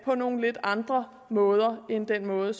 på nogle lidt andre måder end den måde